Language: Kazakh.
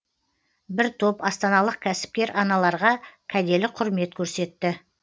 бір топ астаналық кәсіпкер аналарға кәделі құрмет көрсетті